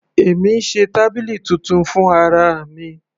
Èmi ń ṣe tábìlì titun fún ara mi.